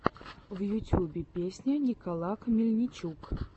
в ютьюбе песня николак мельничук